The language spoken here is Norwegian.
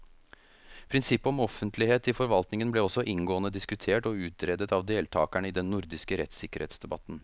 Prinsippet om offentlighet i forvaltningen ble også inngående diskutert og utredet av deltakerne i den nordiske rettssikkerhetsdebatten.